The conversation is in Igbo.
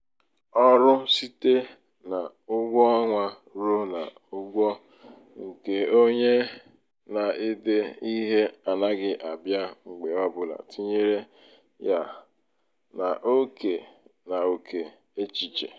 ọrụ site na ụgwọ ọnwa ruo n'ụgwọ nke onye na-ede um ihe n'anaghị abịa mgbe ọ bụla tinyere um ya n'ókè um ya n'ókè échìchè.